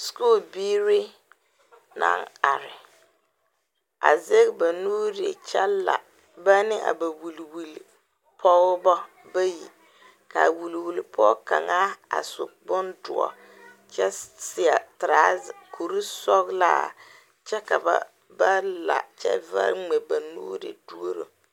Sukure biire naŋ are a zeŋ ba nuure kyɛ la ba ne a ba wuliwuli pogɔbɔ bayi kaa wuliwuli pɔɔ kaŋa a su bon doɔ kyɛ seɛ trazɛ kure sɔglaa kyɛ ka ba ba la kyɛ vare ngmɛ ba nuure duoro.